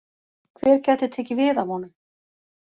Hver gæti tekið við af honum?